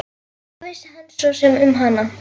Hvað vissi hann svo sem um hana?